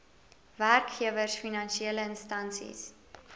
werkgewers finansiele instansies